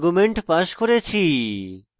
এখানে দুটি arguements passed করেছি